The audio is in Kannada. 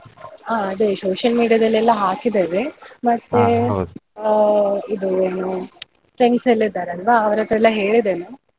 ಹಾ ಅದೇ social media ದಲ್ಲೆಲ್ಲ ಹಾಕಿದ್ದೇವೆ ಆ ಇದು ಏನು friends ಎಲ್ಲ ಇದ್ದಾರಲ್ವ ಅವ್ರತ್ರ ಎಲ್ಲ ಹೇಳಿದ್ದೇನೆ.